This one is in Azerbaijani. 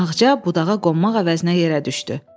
Ağca budağa qonmaq əvəzinə yerə düşdü.